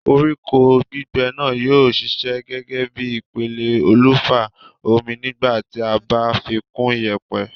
Koríko gbígbẹ náà yóó ṣiṣẹ́ gẹ́gẹ́ bíi ìpele olùfa-omi nígbà tí a bá fi kún iyẹ̀pẹ̀